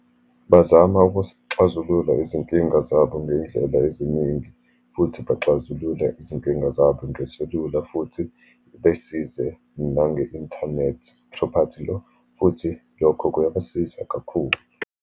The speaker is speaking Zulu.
Bazama ukuxazulula izinkinga zabo ngey'ndlela eziningi, futhi baxazulule izinkinga zabo ngeselula, futhi besize nange-internet property law. Futhi lokho kuyabasiza kakhulu.